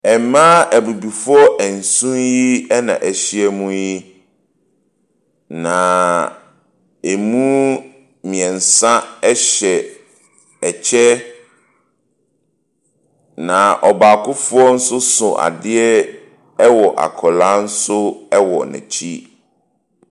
Mmaa abibifo nson yi na ahyia mu yi. Na emu mmiɛnsa ɛhyɛ ɛkyɛ. Na ɔbaakofoɔ nso so adeɛ ɛwɔ akwaraa nso wɔ n'akyi.